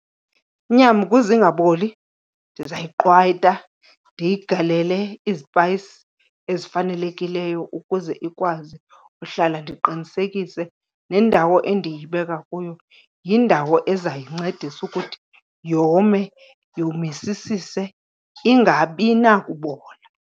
Inyama ukuze ingaboli ndizayiqwayita, ndiyigalele izipayisi ezifanelekileyo ukuze ikwazi uhlala. Ndiqiniseke nendawo endiyibeka kuyo yindawo ezayincedisa ukuthi yome yomisisise, ingabi nakubola.